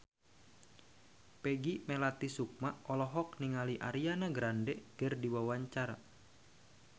Peggy Melati Sukma olohok ningali Ariana Grande keur diwawancara